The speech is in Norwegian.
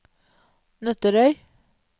Nøtterøy